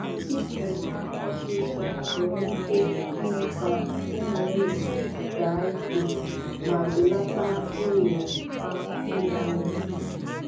Ịkụ nwa osisor nwere ike ime ka ụmụ ehi daa ike ma belata ohere ha ịlanarị.